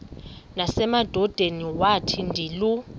nasemadodeni wathi ndilu